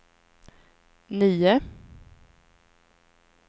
nio